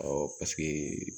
paseke